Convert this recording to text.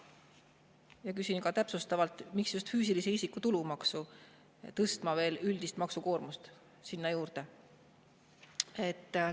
Ja küsin ka täpsustavalt: miks just füüsilise isiku tulumaksu tõstma, veel üldist maksukoormust juurde?